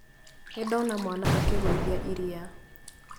Nĩndona mwana akĩgũithia iria